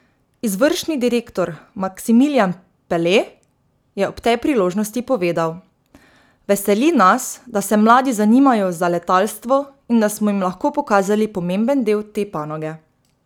Izvršni direktor, Maksimiljan Pele, je ob tej priložnosti povedal: 'Veseli nas, da se mladi zanimajo za letalstvo in da smo jim lahko pokazali pomemben del te panoge.